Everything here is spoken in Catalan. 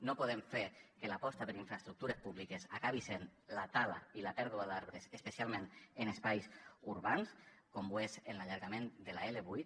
no podem fer que l’aposta per infraestructures públiques acabi sent la tala i la pèrdua d’arbres especialment en espais urbans com ho és en l’allargament de l’l8